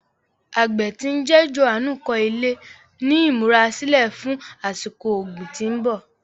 Àgbẹ tí ń jẹ́ Jòhánù kọ ilẹ̀ ní ìmúra sílẹ̀ fún àsìkò ọ̀gbìn tí ń bọ̀.